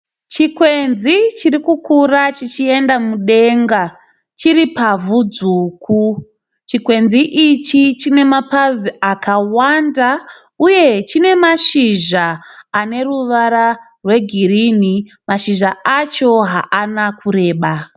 Chikwenzi chirikukura chichienda mudenga chiri pavhu dzvuku, chikwenzi ichi chine mapazi akawanda, uye chine mashizha ane ruwara rwe girini mashizha acho haana kureba.